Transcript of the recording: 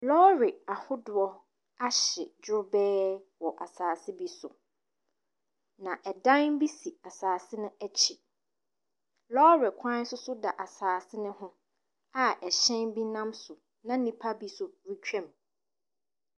Lɔre ahodoɔ ahye drobɛɛ. Na ɛdan bi si asaase akyi. Lɔre kwan no si asaase ne ho a ɛkyɛn bi nam so na nnipa bi nso retwam.